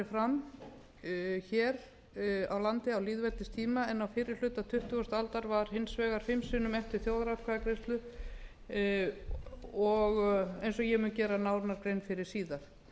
fram hér á landi á lýðveldistíma en á fyrri hluta tuttugustu aldar var hins vegar fimm sinnum efnt til þjóðaratkvæðagreiðslu eins og ég mun gera nánari grein fyrir síðar